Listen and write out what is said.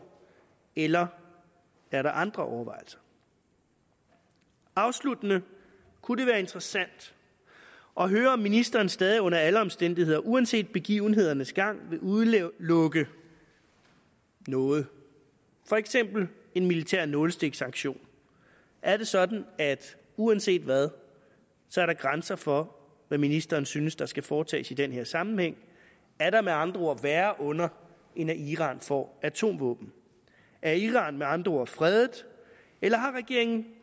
eller er der andre overvejelser afsluttende kunne det være interessant at høre om ministeren stadig under alle omstændigheder uanset begivenhedernes gang vil udelukke noget for eksempel en militær nålestiksaktion er det sådan at der uanset hvad er grænser for hvad ministeren synes der skal foretages i den her sammenhæng er der med andre ord værre onder end at iran får atomvåben er iran med andre ord fredet eller har regeringen